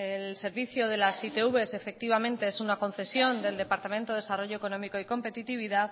el servicio de las itvs efectivamente es una concesión del departamento de desarrollo económico y competitividad